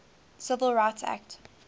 civil rights act